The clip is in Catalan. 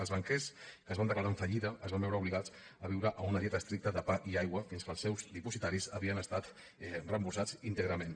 els banquers que es van declarar en fallida es van veure obligats a viure amb una dieta estricta de pa i aigua fins que els seus dipositaris havien estat reemborsats íntegrament